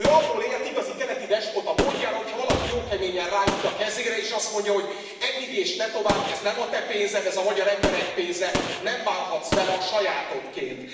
Ő abból élt, igazi keleti despota módjára, hogy ha valaki jó keményen ráüt a kezére, és azt mondja, hogy eddig és ne tovább, ez nem a te pénzed, ez a magyar emberek pénze, nem bánhatsz vele a sajátodként!